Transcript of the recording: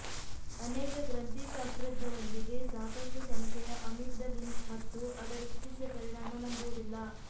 ಅನೇಕ ಗ್ರಂಥಿಶಾಸ್ತ್ರಜ್ಞರೊಂದಿಗೆ ಸಾಕಷ್ಟು ಸಂಶಯ ಅಮಿಗ್ಡಲಿನ್ ಮತ್ತು ಅದರ ಚಿಕಿತ್ಸೆ ಪರಿಣಾಮ ನಂಬುವುದಿಲ್ಲ